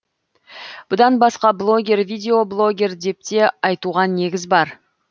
бұдан басқа блогер видеоблогер депте айтуға негіз бар